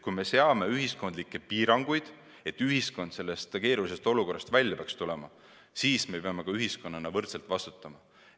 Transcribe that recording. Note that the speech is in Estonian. Kui me seame ühiskondlikke piiranguid, et ühiskond sellest keerulisest olukorrast välja tuleks, siis peame ühiskonnana ka võrdselt vastutama.